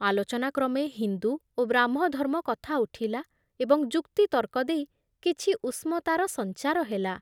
ଆଲୋଚନାକ୍ରମେ ହିନ୍ଦୁ ଓ ବ୍ରାହ୍ମଧର୍ମ କଥା ଉଠିଲା ଏବଂ ଯୁକ୍ତିତର୍କ ଦେଇ କିଛି ଉଷ୍ମତାର ସଞ୍ଚାର ହେଲା ।